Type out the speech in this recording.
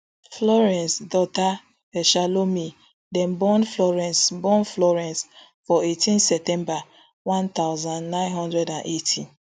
florence dauta eshalomi dem born florence born florence for eighteen september one thousand, nine hundred and eighty